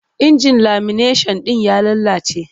Injin lamineshan ɗin ya lalace.